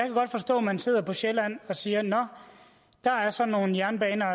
godt forstå at man sidder på sjælland og siger nå der er så nogle jernbaner